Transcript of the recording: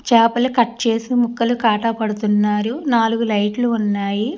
చేపలు కట్ చేసి ముక్కలు కాటా పడుతున్నారు నాలుగు లైట్లు ఉన్నాయి.